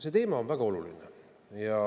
See teema on väga oluline.